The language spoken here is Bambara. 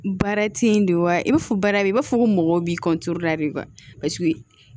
Baara teyi de wa i b'a fɔ baara bɛ i b'a fɔ ko mɔgɔw b'i de basi